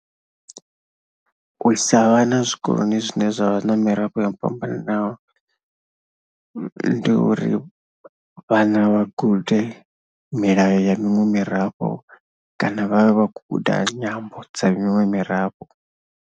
U isa vhana zwikoloni zwine zwa vha na mirafho yo fhambananaho ndi uri vhana vha gude milayo ya miṅwe mirafho kana vha vhe vha khou guda nyambo dza miṅwe mirafho.